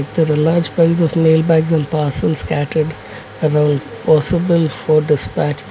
is a large piles of mail box and parcels scattered around possible for dispatch.